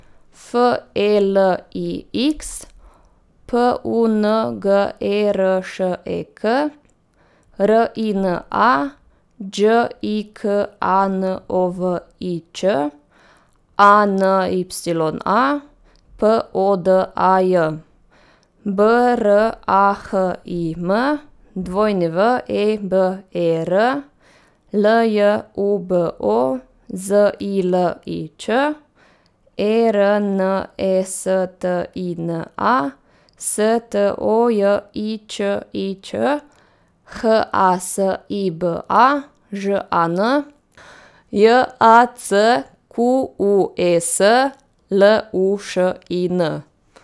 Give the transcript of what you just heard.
F E L I X, P U N G E R Š E K; R I N A, Đ I K A N O V I Ć; A N Y A, P O D A J; B R A H I M, W E B E R; L J U B O, Z I L I Ć; E R N E S T I N A, S T O J I Č I Ć; H A S I B A, Ž A N; J A C Q U E S, L U Š I N.